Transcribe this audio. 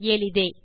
எளிதே